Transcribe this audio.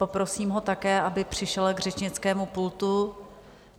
Poprosím ho také, aby přišel k řečnickému pultu.